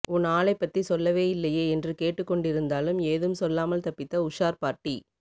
உன் ஆளைப்பத்தி சொல்லவே இல்லையே என்று கேட்டுக் கொண்டிருந்தாலும் ஏதும் சொல்லாமல் தப்பித்த உஷார் பார்ட்டி